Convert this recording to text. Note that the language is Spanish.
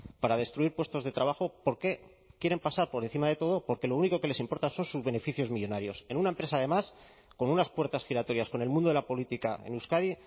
para destruir puestos de trabajo porque quieren pasar por encima de todo porque lo único que les importa son sus beneficios millónarios en una empresa además con unas puertas giratorias con el mundo de la política en euskadi